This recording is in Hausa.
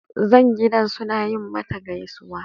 Zan gidan su nayi mata gaisuwa